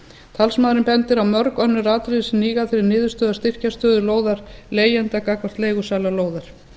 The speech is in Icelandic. talsmaðurinn bendir á mörg önnur atriði sem hníga að þeirri niðurstöðu að styrkja stöðu lóðarleigjanda gagnvart leigusala lóðar